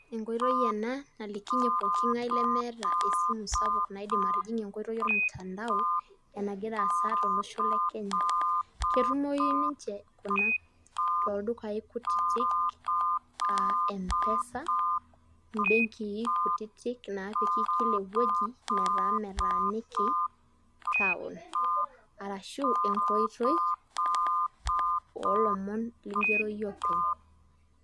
Enkoitoi ena nalikinye pooki ng'ae lemeeta esimu sapuk naidim atijing'ie ormutandao, enagira aasa tolosho le kenya. ketumoyu ninche kuna tooldukai kutitik, aa empesa, imbeenki kutitik naaiki kila ewueji, metaa metaaniki, town arashu enkoitoi oolomon nigero iyie openy.